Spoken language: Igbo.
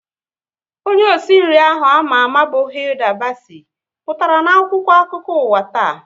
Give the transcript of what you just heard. Onye osi nri ahụ ama ama bụ Hilda Bacci pụtara na akwụkwọ akụkọ ụwa taa